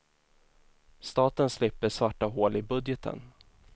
Staten slipper svarta hål i budgeten.